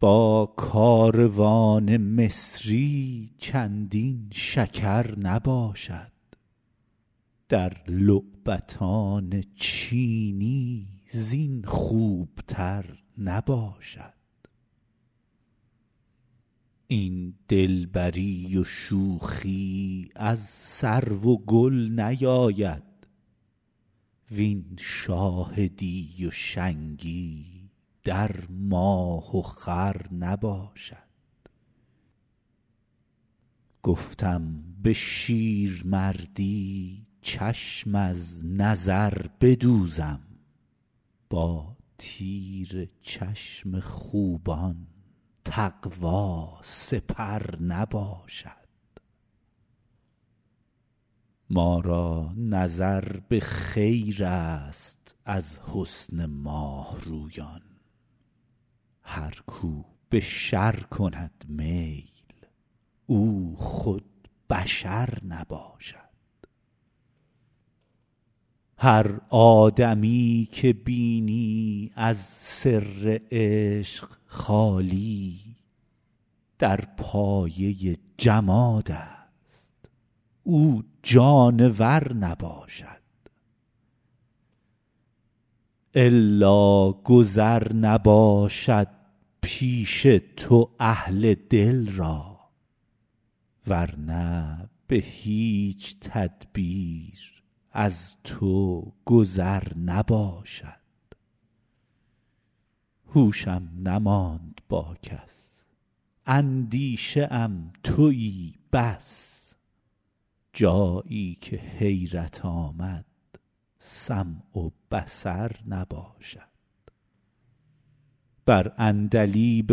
با کاروان مصری چندین شکر نباشد در لعبتان چینی زین خوبتر نباشد این دلبری و شوخی از سرو و گل نیاید وین شاهدی و شنگی در ماه و خور نباشد گفتم به شیرمردی چشم از نظر بدوزم با تیر چشم خوبان تقوا سپر نباشد ما را نظر به خیرست از حسن ماه رویان هر کو به شر کند میل او خود بشر نباشد هر آدمی که بینی از سر عشق خالی در پایه جمادست او جانور نباشد الا گذر نباشد پیش تو اهل دل را ور نه به هیچ تدبیر از تو گذر نباشد هوشم نماند با کس اندیشه ام تویی بس جایی که حیرت آمد سمع و بصر نباشد بر عندلیب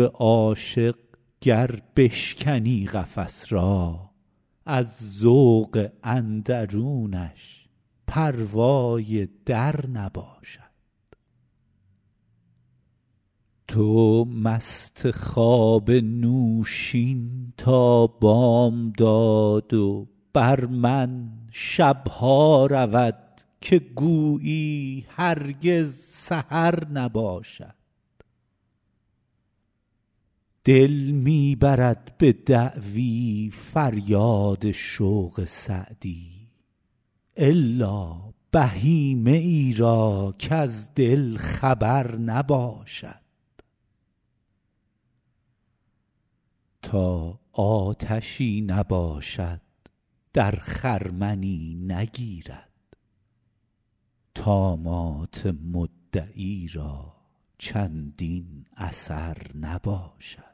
عاشق گر بشکنی قفس را از ذوق اندرونش پروای در نباشد تو مست خواب نوشین تا بامداد و بر من شب ها رود که گویی هرگز سحر نباشد دل می برد به دعوی فریاد شوق سعدی الا بهیمه ای را کز دل خبر نباشد تا آتشی نباشد در خرمنی نگیرد طامات مدعی را چندین اثر نباشد